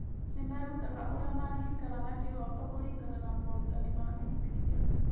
Nĩ merutaga ũrĩa mangĩikara na kĩhooto kũringana na morutani ma Bibiria.